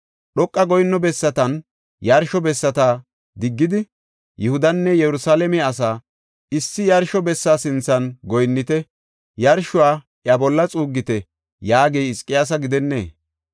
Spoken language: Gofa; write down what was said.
Dhoqa goyinno bessatanne yarsho bessata diggidi, Yihudanne Yerusalaame asaa, ‘Issi yarsho bessa sinthan goyinnite; yarshuwa iya bolla xuuggite’ yaagey Hizqiyaasa gidennee?